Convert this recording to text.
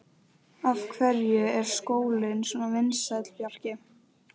Af hverju er skólinn svona vinsæll, Bjarki?